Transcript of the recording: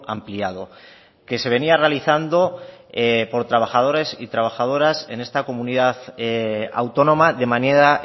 ampliado que se venía realizando por trabajadores y trabajadoras en esta comunidad autónoma de manera